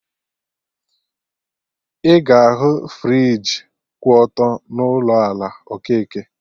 Ị ga ahụ friji kwụ ọtọ n'ụlọ ala Okeke